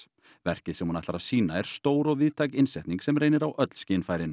verkið sem hún ætlar að sýna er stór og víðtæk innsetning sem reynir á öll skynfærin